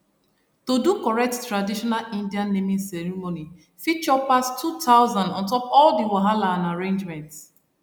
to do correct traditional indian naming ceremony fit chop pass 2000 on top all the wahala and arrangement